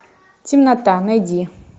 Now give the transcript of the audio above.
темнота найди